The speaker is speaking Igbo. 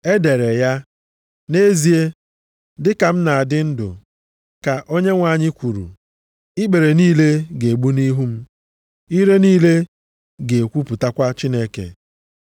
E dere ya, “ ‘Nʼezie, dịka m na-adị ndụ,’ ka Onyenwe anyị kwuru, ‘ikpere niile ga-egbu nʼihu m; ire + 14:11 Maọbụ, ọnụ niile ga-ekwupụtakwa Chineke.’ ”+ 14:11 \+xt Aịz 45:23\+xt*